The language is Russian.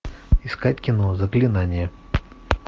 искать кино заклинание